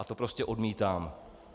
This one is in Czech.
A to prostě odmítám.